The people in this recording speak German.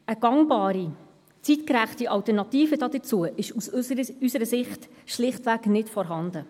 Eine gangbare, zeitgerechte Alternative dazu ist aus unserer Sicht schlichtweg nicht vorhanden.